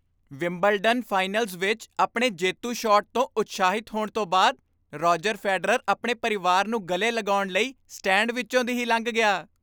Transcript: Wimbledon finals ਵਿੱਚ ਆਪਣੇ ਜੇਤੂ ਸ਼ਾਟ ਤੋਂ ਉਤਸ਼ਾਹਿਤ ਹੋਣ ਤੋਂ ਬਾਅਦ, ਰੋਜਰ ਫੈਡਰਰ ਆਪਣੇ ਪਰਿਵਾਰ ਨੂੰ ਗਲੇ ਲਗਾਉਣ ਲਈ ਸਟੈਂਡ ਵਿੱਚੋਂ ਦੀ ਹੀ ਲੰਘ ਗਿਆ।